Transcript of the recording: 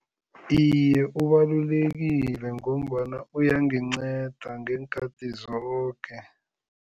Iye, ubalulekile ngombana uyanginceda ngeenkhathi zoke.